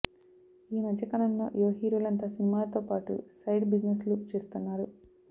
ఈమధ్య కాలంలో యువ హీరోలంతా సినిమాలతో పాటు సైడ్ బిజినెస్ లు చేస్తున్నారు